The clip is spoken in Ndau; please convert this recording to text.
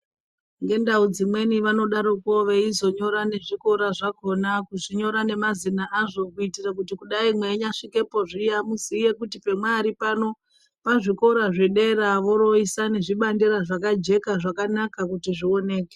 Ngendau dzimweni vanodaroko veizonyora nezvikora zvakona, vechinyora nemazina azvo kuitira kuti kudai mweinyasvikepo zviya muziye kuti pemwaari pano pazvikora zvedera voroisa nezvibandera zvakajeka zvakanaka kuti zvioneke.